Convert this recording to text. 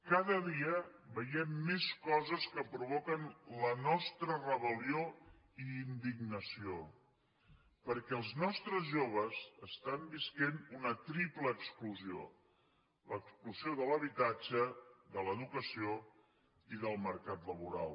cada dia veiem més coses que provoquen la nostra rebel·lió i indignació perquè els nostres joves estan vivint una triple exclusió l’exclusió de l’habitatge de l’educació i del mercat laboral